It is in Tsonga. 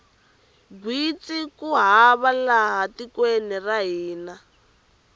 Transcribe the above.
gwitsi ku hava laha tikweni ra hina